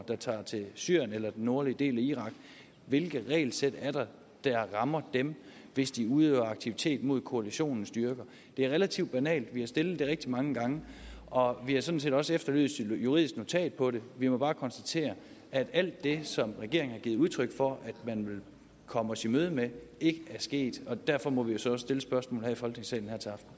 der tager til syrien eller den nordlige del af irak hvilke regelsæt er der der rammer dem hvis de udøver aktivitet mod koalitionens styrker det er relativt banalt vi har stillet det rigtig mange gange og vi har sådan set også efterlyst et juridisk notat på det vi må bare konstatere at alt det som regeringen har givet udtryk for at man ville komme os i møde med ikke er sket og derfor må vi jo så stille spørgsmålet i folketingssalen